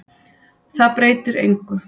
Það breytir engu.